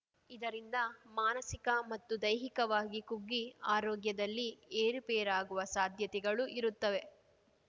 ಇದರಿಂದ ಮಾನಸಿಕ ಮತ್ತು ದೈಹಿಕವಾಗಿ ಕುಗ್ಗಿ ಆರೋಗ್ಯದಲ್ಲಿ ಏರುಪೇರಾಗುವ ಸಾಧ್ಯತೆಗಳು ಇರುತ್ತವೆ